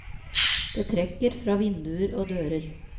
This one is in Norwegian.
Det trekker fra vinduer og dører.